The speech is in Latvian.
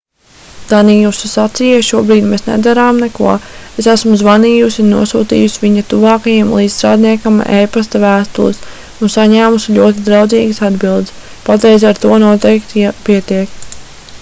daniusa sacīja šobrīd mēs nedarām neko es esmu zvanījusi un nosūtījusi viņa tuvākajam līdzstrādniekam e-pasta vēstules un saņēmusi ļoti draudzīgas atbildes patriez ar to noteikti pietiek